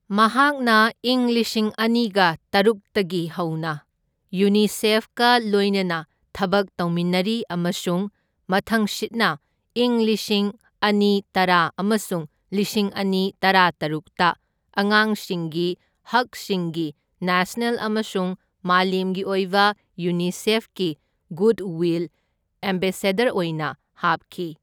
ꯃꯍꯥꯛꯅ ꯏꯪ ꯂꯤꯁꯤꯡ ꯑꯅꯤꯒ ꯇꯔꯨꯛꯇꯒꯤ ꯍꯧꯅ ꯌꯨꯅꯤꯁꯦꯐꯀ ꯂꯣꯢꯅꯅ ꯊꯕꯛ ꯇꯧꯃꯤꯟꯅꯔꯤ ꯑꯃꯁꯨꯡ ꯃꯊꯪꯁꯤꯠꯅ ꯏꯪ ꯂꯤꯁꯤꯡ ꯑꯅꯤꯇꯔꯥ ꯑꯃꯁꯨꯡ ꯂꯤꯁꯤꯡ ꯑꯅꯤ ꯇꯔꯥꯇꯔꯨꯛꯇ ꯑꯉꯥꯡꯁꯤꯡꯒꯤ ꯍꯛꯁꯤꯡꯒꯤ ꯅꯦꯁꯅꯦꯜ ꯑꯃꯁꯨꯡ ꯃꯥꯂꯦꯝꯒꯤ ꯑꯣꯏꯕ ꯌꯨꯅꯤꯁꯦꯐꯀꯤ ꯒꯨꯗꯋꯤꯜ ꯑꯦꯝꯕꯦꯁꯦꯗꯔ ꯑꯣꯏꯅ ꯍꯥꯞꯈꯤ꯫